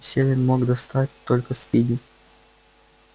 селен мог достать только спиди